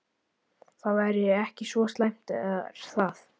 Það væri ekki svo slæmt er það?